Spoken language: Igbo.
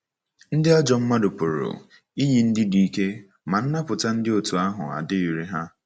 Ndị ajọ mmadụ pụrụ iyi ndị dị ike, ma nnapụta dị otú ahụ adịghịrị ha.